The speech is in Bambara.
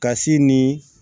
Ka si ni